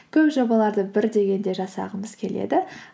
көп жобаларды бір дегенде жасағымыз келеді